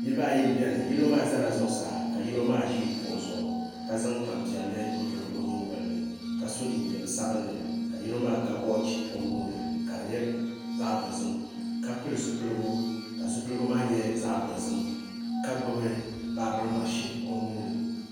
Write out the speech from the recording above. Niraba n biɛni yino maa ʒɛla zuɣusaa ka yino ʒi kuɣu zuɣu ka zaŋ tanpiɛlli n buli o nyingoli ni ka so jinjɛm sabinli ka yino maa ga wooch o nuuni ka di nyɛ zaɣ dozim ka pili zipiligu ka zipiligu maa nyɛ zaɣ dozim ka gbubi baabirin mashin o nuuni